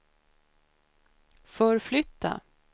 förflytta